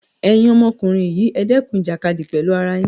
Ẹ̀yin ọmọkùnrin yii ẹ̀ dẹ́kun ìjàkadì pẹ̀lú ara yín!